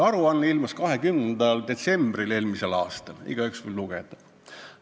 Aruanne ilmus 20. detsembril eelmisel aastal, igaüks võib seda lugeda.